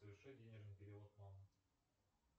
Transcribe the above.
соверши денежный перевод мама